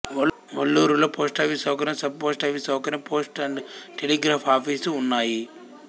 వల్లూరులో post office సౌకర్యం sub post office సౌకర్యం post and telegraph office ఉన్నాయి